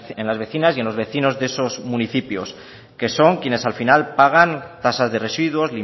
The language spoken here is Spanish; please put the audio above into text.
en las vecinas y los vecinos de estos municipios que son quienes al final pagan tasas de residuos